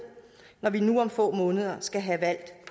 når vi nu om få måneder skal have valgt